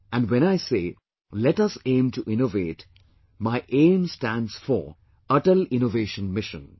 And when I say "let us aim to innovate' my AIM stands for "Atal Innovation Mission'